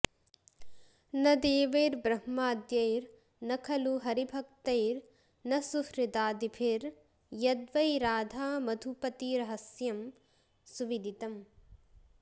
न देवैर्ब्रह्माद्यैर्न खलु हरिभक्तैर्न सुहृदा दिभिर्यद् वै राधामधुपतिरहस्यं सुविदितम्